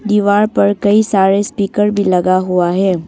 दीवार पर कई सारे स्पीकर भी लगा हुआ है।